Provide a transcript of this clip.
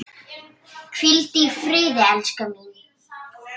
Hvíldu í friði, elskan mín.